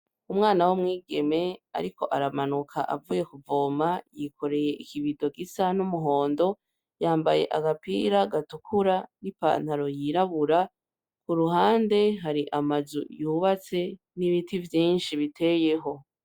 Umwana w'umwigeme ariko aramanuka avuye kuvoma, yikoreye ikibido gisa n'umuhondo yambaye agapira gatukura n'ipantaro yirabura kuruhande hari amazu yubatse n'ibiti vyinshi biteyeho.